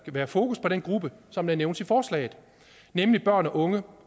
være fokus på den gruppe som nævnes i forslaget nemlig børn og unge